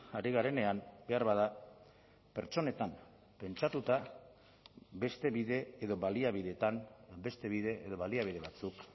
ari garenean beharbada pertsonetan pentsatuta beste bide edo baliabidetan beste bide edo baliabide batzuk